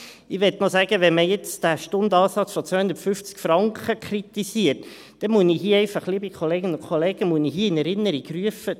Ich möchte noch sagen: Wenn man jetzt den Stundenansatz von 250 Franken kritisiert, muss ich hier einfach, liebe Kolleginnen und Kollegen, in Erinnerung rufen: